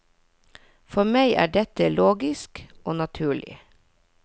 For meg er dette logisk og naturlig.